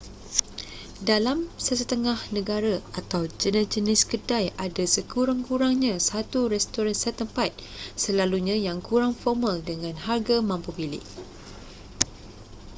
dalam sesetengah negara atau jenis-jenis kedai ada sekurang-kurangnya satu restoran setempat selalunya yang kurang formal dengan harga mampu milik